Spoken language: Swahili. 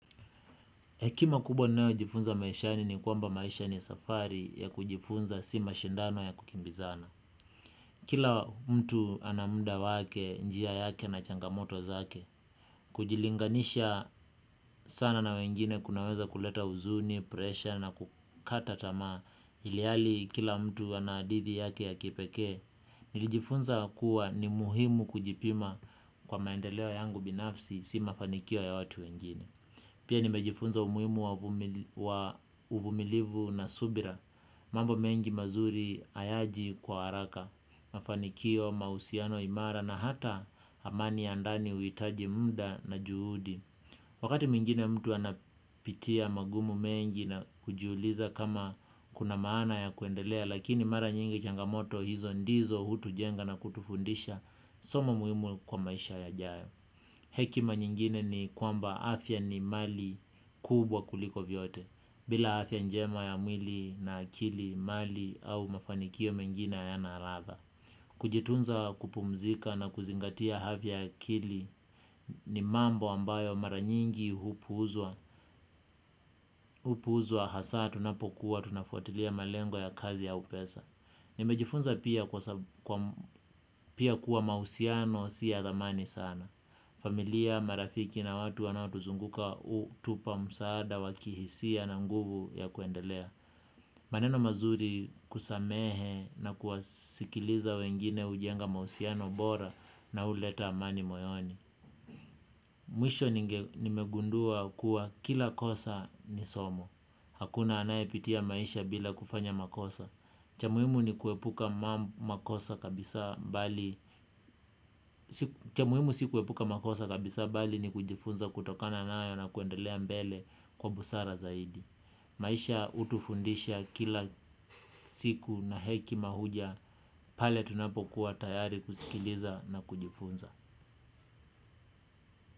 Hekima kubwa ninayojifunza maishani ni kwamba maisha ni safari ya kujifunza si mashindano ya kukimbizana. Kila mtu ana mda wake njia yake na changamoto zake, kujilinganisha sana na wengine kunaweza kuleta huzuni, pressure na kukata tamaa, ilihali kila mtu ana hadithi yake ya kipekee, nilijifunza kuwa ni muhimu kujipima kwa maendeleo yangu binafsi si mafanikio ya watu wengine. Pia nimejifunza umuhimu wa uvumilivu na subira, mambo mengi mazuri ayaji kwa haraka, mafanikio, mausiano imara na hata amani ya ndani uitaji mda na juhudi. Wakati mwingine mtu anapitia magumu mengi na kujiuliza kama kuna maana ya kuendelea, lakini mara nyingi changamoto hizo ndizo hutujenga na kutufundisha soma muhimu kwa maisha yajayo. Hekima nyingine ni kwamba afya ni mali kubwa kuliko vyote. Bila afya njema ya mwili na akili mali au mafanikio mengina hayana radha. Kujitunza kupumzika na kuzingatia havya akili ni mambo ambayo mara nyingi hupuuzwa. Hupuuzwa hasa tunapokuwa tunafuatilia malengo ya kazi au pesa. Nimejifunza pia kuwa mausiano si ya thamani sana. Familia, marafiki na watu wanaotuzunguka utupa msaada wa kihisia na nguvu ya kuendelea. Maneno mazuri kusamehe na kuwasikiliza wengine ujenga mausiano bora na uleta amani moyoni. Mwisho nimegundua kuwa kila kosa ni somo. Hakuna anayepitia maisha bila kufanya makosa. Cha muhimu ni kuepu cha muhimu si kuepuka makosa kabisa bali ni kujifunza kutokana nayo na kuendelea mbele kwa busara zaidi. Maisha utufundisha kila siku na hekima huja pale tunapokua tayari kusikiliza na kujifunza.